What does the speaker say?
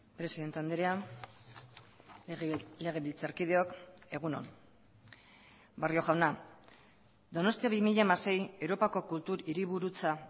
presidente andrea legebiltzarkideok egun on barrio jauna donostia bi mila hamasei europako kultur hiriburutza